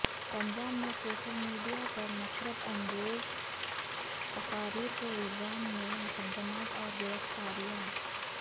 پنجاب میں social media پر نفرت انگیز تقاریر کے الزام میں مقدمات اور گرفتاریاں